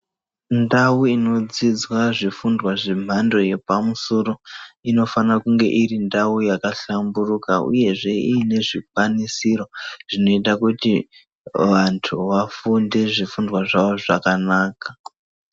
Ndau inodzidzwa zvifundwa zvemhando yepamusoro, inofana kunga iri ndau yakahlamburuka ,uyehe iine zvikwanisiro zvinoita kuti vantu vafunde zvifundwa zvavo zvakanaka.